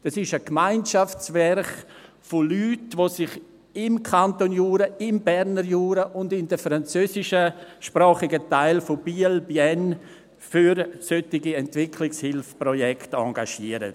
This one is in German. Das ist ein Gemeinschaftswerk von Personen, die sich im Kanton Jura, im Berner Jura und in den französischsprachigen Teilen von Biel/Bienne für solche Entwicklungshilfeprojekte engagieren.